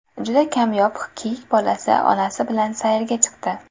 Juda kamyob kiyik bolasi onasi bilan sayrga chiqdi.